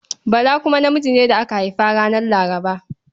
Bala kuma namiji ne da aka haifa ranar Laraba.